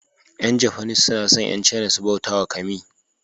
Yan japanese suna son Yan caina su bautawa kami.